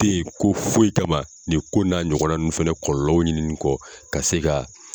tɛ ye ko foyi kama nin ko in n'a ɲɔgɔn na ninnu fɛnɛ kɔlɔlɔw ɲini kɔ ka se ka